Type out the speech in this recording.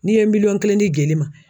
N'i ye miliyɔn kelen di jeli ma